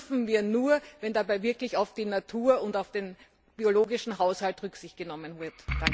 Aber das dürfen wir nur, wenn dabei wirklich auf die Natur und den biologischen Haushalt Rücksicht genommen wird.